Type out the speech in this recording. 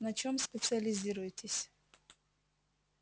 на чем специализируетесь